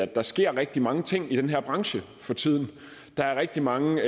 der sker rigtig mange ting i den her branche for tiden der er rigtig mange